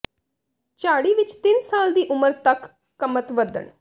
ਝਾੜੀ ਵਿੱਚ ਤਿੰਨ ਸਾਲ ਦੀ ਉਮਰ ਤੱਕ ਕਮਤ ਵਧਣ